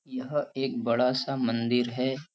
यह एक बड़ा सा मंदिर है।